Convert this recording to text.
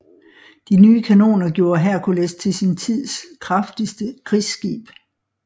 De nye kanoner gjorde Hercules til sin tids kraftigste krigsskib